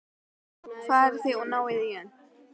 Farið þá og náið í hann!